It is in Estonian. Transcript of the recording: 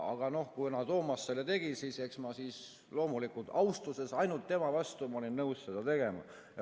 Aga kuna Toomas selle tegi, siis eks ma loomulikult ainult austusest tema vastu olin nõus seda tegema.